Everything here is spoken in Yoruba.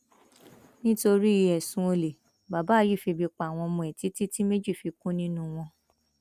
nítorí ẹsùn olè bàbá yìí febi pa àwọn ọmọ ẹ títí tí méjì fi kú nínú wọn